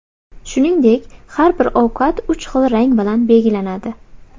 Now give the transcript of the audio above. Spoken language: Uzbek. Shuningdek, har bir ovqat uch xil rang bilan belgilanadi.